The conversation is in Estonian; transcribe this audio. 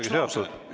Vabandust!